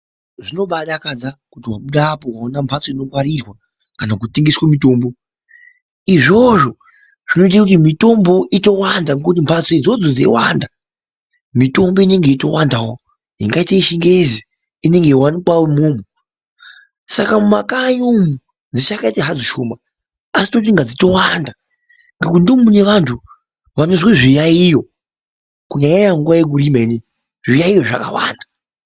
Zvinebaidakadza kuti wabuda apa waona mhatso inongwarirwa kana kutengeswe mitombo izvozvo zvinoitawo kuti imitombowo itowanda yakaita seyechingezi saka mumakanyi umu dzichakaita hadzo shoma asi tinototi dzitowanda ngekuti ndomune antu anozwa zviyayiyo kunyanya nyanya nguwa inoiyekurima.